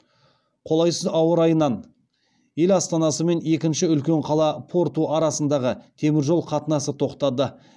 қолайсыз ауа райынан ел астанасы мен екінші үлкен қала порту арасындағы теміржол қатынасы тоқтады